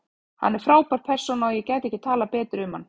Hann er frábær persóna og ég gæti ekki talað betur um hann.